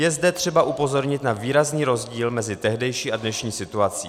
Je zde třeba upozornit na výrazný rozdíl mezi tehdejší a dnešní situací.